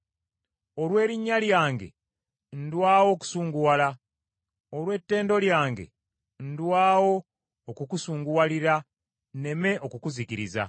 Olw’erinnya lyange ndwawo okusunguwala. Olw’ettendo lyange ndwawo okukusunguwalira nneme okukuzikiriza.